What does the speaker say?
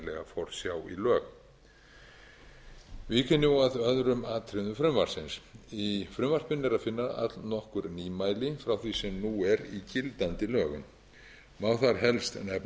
forsjá í lög vík ég nú að öðrum atriðum frumvarpsins í frumvarpinu er að finna allnokkur nýmæli frá því sem nú er í gildandi lögum má þar helst nefna að lagt